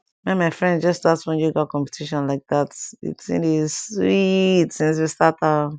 me and my friends just start one yoga competition like that di thing dey sweet since we start am